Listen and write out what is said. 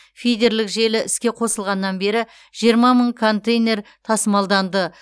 фидерлік желі іске қосылғаннан бері жиырма мың контейнер тасымалданды